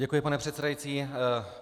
Děkuji, pane předsedající.